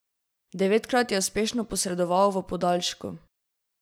Devetkrat je uspešno posredoval v podaljšku.